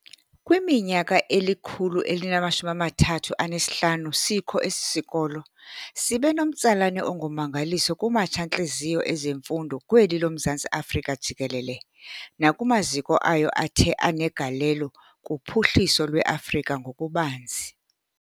Kwiminyaka eli-135 sikho esi sikolo sibenomtsalane ongummangaliso kumatsha-ntliziyo ezemfundo kweli loMzantsi Afrika jikelele, nakumaziko ayo athe anegalelo kuphuhliso lweAfrika ngokubanzi.